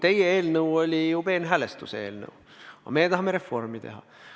Teie eelnõu oli peenhäälestuse eelnõu, aga meie tahame reformi teha.